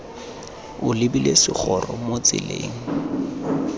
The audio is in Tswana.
o lebile segoro mo tseleng